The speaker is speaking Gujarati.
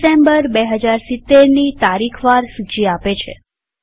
આ ડિસેમ્બર ૨૦૭૦ની તારીખ વાર સૂચી આપે છે